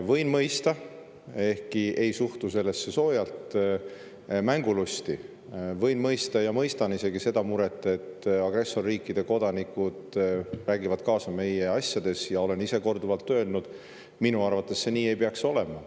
Võin mõista – ehkki ei suhtu sellesse soojalt – mängulusti, võin mõista ja mõistan isegi seda muret, et agressorriikide kodanikud räägivad kaasa meie asjades, ja olen ise korduvalt öelnud, et minu arvates see nii ei peaks olema.